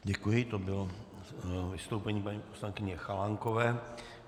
Děkuji, to bylo vystoupení paní poslankyně Chalánkové.